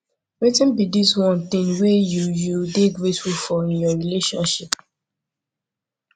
wetin be di one thing wey you you dey grateful in your relationship